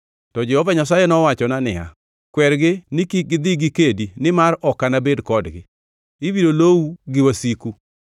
To Jehova Nyasaye nowachona niya, Kwergi ni kik gidhi gikedi nimar ok anabed kodgi. Ibiro lowu gi wasiku.